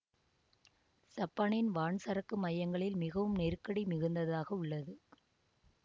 சப்பானின் வான் சரக்கு மையங்களில் மிகவும் நெருக்கடி மிகுந்ததாக உள்ளது